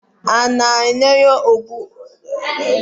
A na-enyocha ụgbọ elu anya mgbe niile iji gbochie ihe mberede